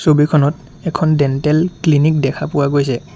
ছবিখনত এখন dental clinic দেখা পোৱা গৈছে।